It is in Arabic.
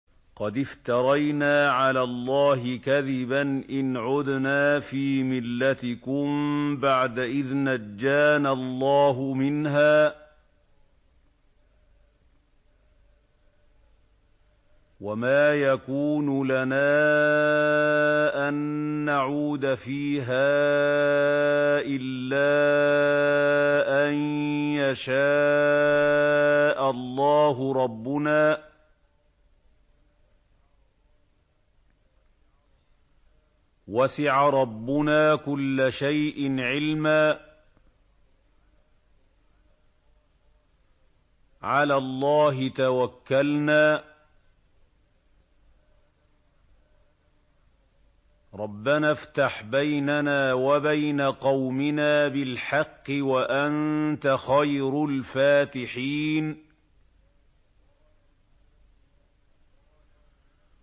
قَدِ افْتَرَيْنَا عَلَى اللَّهِ كَذِبًا إِنْ عُدْنَا فِي مِلَّتِكُم بَعْدَ إِذْ نَجَّانَا اللَّهُ مِنْهَا ۚ وَمَا يَكُونُ لَنَا أَن نَّعُودَ فِيهَا إِلَّا أَن يَشَاءَ اللَّهُ رَبُّنَا ۚ وَسِعَ رَبُّنَا كُلَّ شَيْءٍ عِلْمًا ۚ عَلَى اللَّهِ تَوَكَّلْنَا ۚ رَبَّنَا افْتَحْ بَيْنَنَا وَبَيْنَ قَوْمِنَا بِالْحَقِّ وَأَنتَ خَيْرُ الْفَاتِحِينَ